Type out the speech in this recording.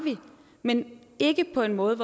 men ikke på en måde